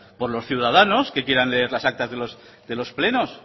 o los ciudadanos que quieran leer las actas de los plenos